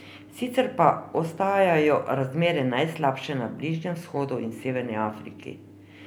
Sicer pa ostajajo razmere najslabše na Bližnjem vzhodu in Severni Afriki.